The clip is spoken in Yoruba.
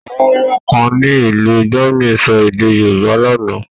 Àwọn ọmọ kan ní ìlú Germany sọ èdè Yorùbá lánàá.